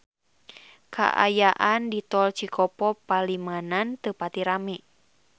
Kaayaan di Tol Cikopo Palimanan teu pati rame